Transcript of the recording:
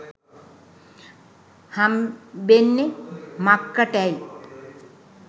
හම්බෙන්නෙ මක්කටැයි.